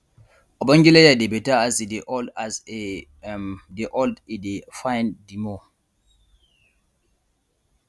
ogbonge leather dey better as e dey old as e um dey old e dey fine di more